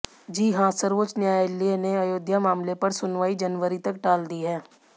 जी हां सर्वोच्च न्यायालय ने अयोध्या मामले पर सुनवाई जनवरी तक टाल दी है